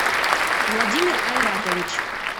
владимир айратович